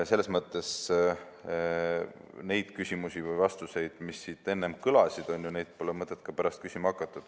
Selles mõttes neid küsimusi, mis siin enne kõlasid, pole mõtet pärast küsima hakata.